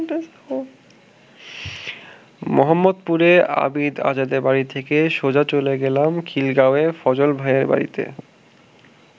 মোহাম্মদপুরে আবিদ আজাদের বাড়ি থেকে সোজা চলে গেলাম খিলগাঁওয়ে ফজল ভাইয়ের বাড়িতে।